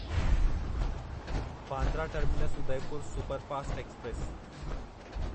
Bandra terminus Udaipur superfast express